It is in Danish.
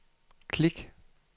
klik